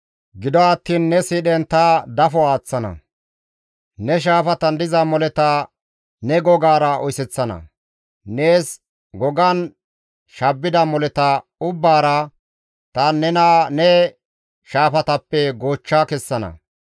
Gido attiin ne siidhen ta dafo aaththana; ne shaafatan diza moleta ne gogara oyseththana. Nees gogan shabbida moleta ubbaara ta nena ne shaafatappe goochcha kessana.